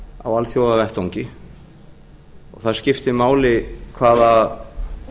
á alþjóðavettvangi og það skiptir máli hvaða